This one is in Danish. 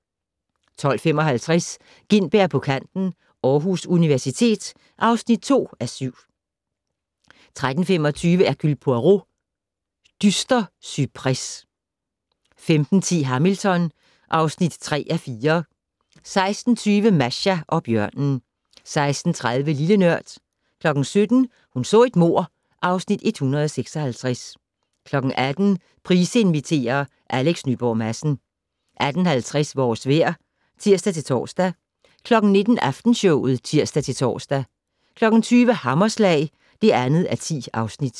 12:55: Gintberg på kanten - Aarhus Universitet (2:7) 13:25: Hercule Poirot: Dyster cypres 15:10: Hamilton (3:4) 16:20: Masha og bjørnen 16:30: Lille Nørd 17:00: Hun så et mord (Afs. 156) 18:00: Price inviterer - Alex Nyborg Madsen 18:50: Vores vejr (tir-tor) 19:00: Aftenshowet (tir-tor) 20:00: Hammerslag (2:10)